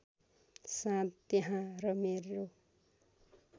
साँध त्यहाँ र मेरो